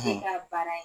Ne ka baara ye